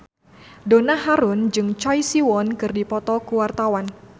Donna Harun jeung Choi Siwon keur dipoto ku wartawan